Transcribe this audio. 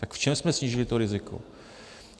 Tak v čem jsme snížili to riziko?